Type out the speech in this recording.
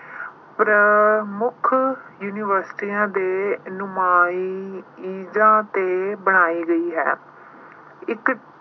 ਪ੍ਰਮੁੱਖ universities ਦੇ ਨੁਮਾਇੰਦਿਆਂ ਤੇ ਬਣਾਈ ਗਈ ਹੈ। ਇੱਕ